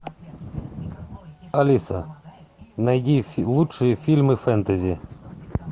алиса найди лучшие фильмы фэнтези